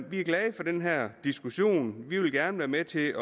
vi er glade for den her diskussion vi vil gerne være med til